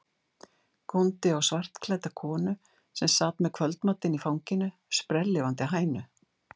Góndi á svartklædda konu sem sat með kvöldmatinn í fanginu, sprelllifandi hænu.